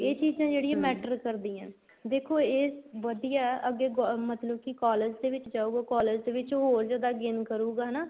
ਇਹ ਚੀਜ਼ਾਂ ਜਿਹੜੀਆਂ matter ਕਰਦੀਆਂ ਨੇ ਦੇਖੋ ਏ ਵਧੀਆ ਹੈ ਅੱਗੇ ਮਤਲਬ ਕੀ collage ਦੇ ਵਿੱਚ ਜਾਉਗਾ collage ਦੇ ਵਿੱਚ ਹੋਰ ਜਿਆਦਾ gain ਕਰੂਗਾ ਹਨਾ